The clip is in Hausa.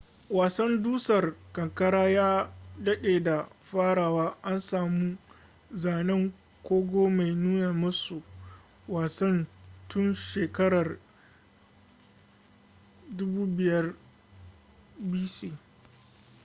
wasan dusar kankara ya dade da farawa - an samu zanen kogo mai nuna masu wasan tun shakarar 5000 bc